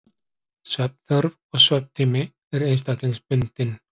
Svefnþörf og svefntími er einstaklingsbundinn.